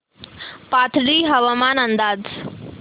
पाथर्डी हवामान अंदाज